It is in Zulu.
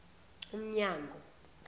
umnyango